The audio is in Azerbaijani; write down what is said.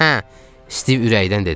Stiv ürəkdən dedi.